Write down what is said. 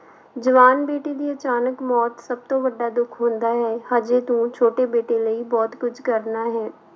ਜਵਾਨ ਬੇਟੀ ਦੀ ਅਚਾਨਕ ਮੌਤ ਸਭ ਤੋਂ ਵੱਡਾ ਦੁੱਖ ਹੁੰਦਾ ਹੈ, ਹਜੇ ਤੂੰ ਛੋਟੀ ਬੇਟੀ ਲਈ ਬਹੁਤ ਕੁੱਝ ਕਰਨਾ ਹੈ।